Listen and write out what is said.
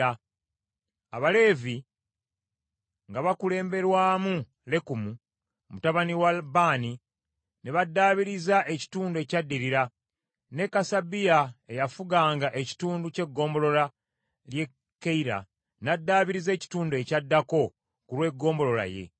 Abaleevi nga bakulemberwamu Lekumu mutabani wa Baani ne baddaabiriza ekitundu ekyaddirira, ne Kasabiya eyafuganga ekitundu ky’eggombolola ly’e Keyira n’addaabiriza ekitundu ekyaddako ku lw’eggombolola ye.